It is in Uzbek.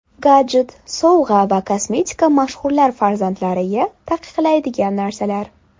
Gadjet, sovg‘a va kosmetika mashhurlar farzandlariga taqiqlaydigan narsalar.